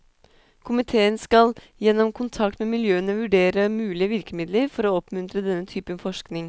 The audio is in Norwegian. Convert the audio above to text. Komitéen skal gjennom kontakt med miljøene vurdere mulige virkemidler for å oppmuntre denne typen forskning.